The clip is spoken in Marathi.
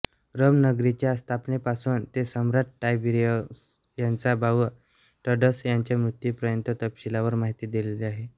रोम नगरीच्या स्थापनेपासून ते सम्राट टायबीअरिअस याचा भाऊ ड्रसस याच्या मृत्यूपर्यंत तपशीलवार माहिती दिलेली आाहे